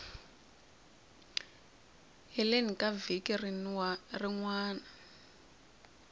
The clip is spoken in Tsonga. heleni ka vhiki rin wana